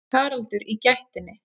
Haraldur í gættinni.